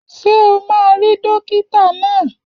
Ṣé o máa rí dókítà náà?